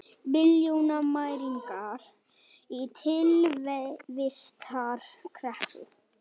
Milljónamæringar í tilvistarkreppu